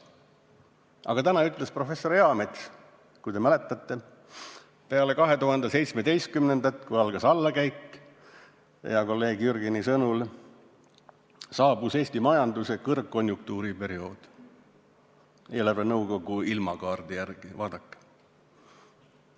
Aga täna ütles professor Eamets, kui te mäletate, et peale 2017. aastat, kui hea kolleegi Jürgeni sõnul algas allakäik, saabus Eesti majanduse kõrgkonjunktuuri periood, eelarvenõukogu ilmakaardi järgi, vaadake.